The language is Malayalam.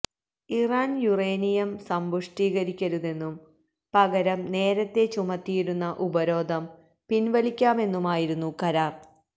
ഇറാന് യുറേനിയം സമ്പുഷ്ടീകരിക്കരുതെന്നും പകരം നേരത്തെ ചുമത്തിയിരുന്ന ഉപരോധം പിന്വലിക്കാമെന്നുമായിരുന്നു കരാര്